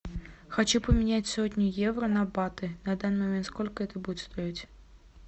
хочу поменять сотню евро на баты на данный момент сколько это будет стоить